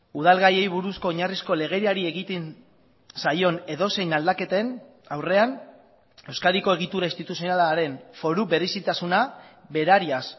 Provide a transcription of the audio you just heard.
udal gaiei buruzko oinarrizko legediari egiten zaion edozein aldaketen aurrean euskadiko egitura instituzionalaren foru berezitasuna berariaz